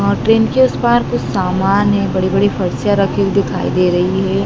और ट्रेन के उस पार कुछ सामान है बड़ी-बड़ी फर्शीया रखी दिखाई दे रही है।